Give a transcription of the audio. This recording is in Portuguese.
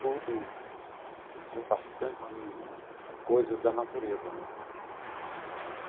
Tudo com bastante coisas da natureza né.